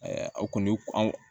aw kɔni an